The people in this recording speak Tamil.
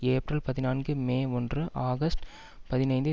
ஏப்ரல் பதினான்கு மே ஒன்று ஆகஸ்டு பதினைந்து